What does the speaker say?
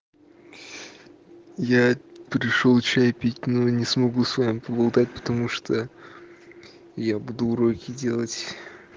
я пришёл чай пить но не смогу с вами поболтать потому что я буду уроки делать